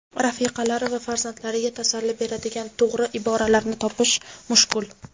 rafiqalari va farzandlariga tasalli beradigan to‘g‘ri iboralarni topish mushkul.